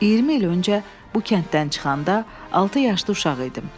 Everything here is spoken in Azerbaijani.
20 il öncə bu kənddən çıxanda altı yaşlı uşaq idim.